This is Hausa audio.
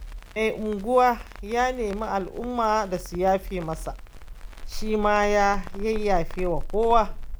Mai unguwa ya nemi al'umma da su yafe masa, shi ma ya yafewa kowa.